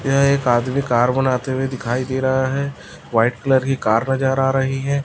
यह एक आदमी कार बनाते हुए दिखाई दे रहा है वाइट कलर की कार नजर आ रही है।